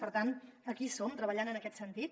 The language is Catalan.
per tant aquí hi som treballant en aquest sentit